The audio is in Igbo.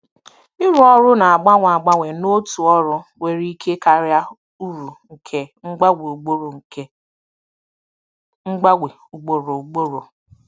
Ịrụ ọrụ na-agbanwe agbanwe n'otu ọrụ nwere ike karịa uru nke mgbanwe ugboro nke mgbanwe ugboro ugboro.